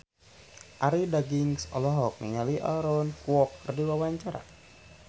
Arie Daginks olohok ningali Aaron Kwok keur diwawancara